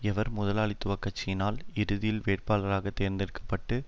எவர் முதலாளித்துவ கட்சிய்ளால் இறுதியில் வேட்பாளராக தேர்ந்தெடுக்க பட்டு